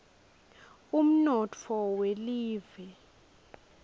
umnotfo welive